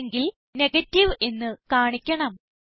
അല്ലെങ്കിൽ നെഗേറ്റീവ് എന്ന് കാണിക്കണം